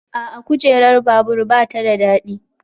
A'a, kujerar babur ba ta da daɗi